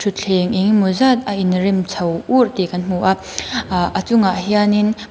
thleng eng emaw zat a in rem chho ur tih kan hmu a ah a chungah hianin--